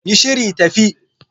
Yi shiri, tafi